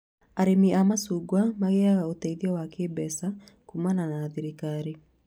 Arĩmi a macungwa magĩaga ũteithio wa kĩmbeca kumana na thirikari